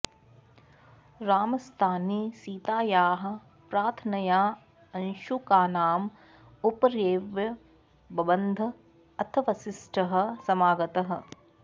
रामस्तानि सीतायाः प्रार्थनया अंशुकानाम् उपर्येव बबन्ध अथ वसिष्ठः समागतः